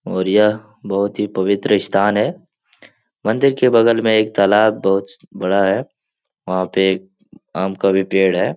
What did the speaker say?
और यह बहोत ही पवित्र स्थान है मंदिर के बगल में एक तालाब बहोत बड़ा है वहाँ पे आम का भी पेड़ है।